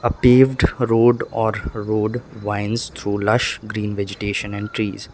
paved road or road winds through lush green vegetations and trees.